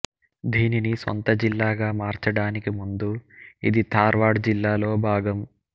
దీనిని సొంత జిల్లాగా మార్చడానికి ముందు ఇది ధార్వాడ్ జిల్లాలో భాగం